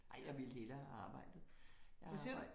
Ej jeg ville hellere have arbejdet. Jeg har arbejdet